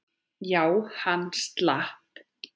Já, hann slapp.